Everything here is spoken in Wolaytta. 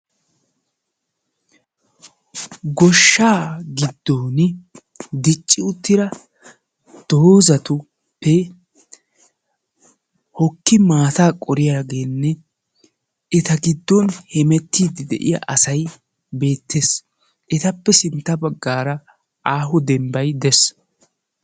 Goshshaa giddon dicci uttida doozatuppe hokki maataa qoriyageenne eta giddon hemettiidi de'iya asay beettees. Etappe sintta baggaara aaho demmbbay dees.